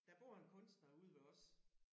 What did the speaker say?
Der bor en kunstner ude ved os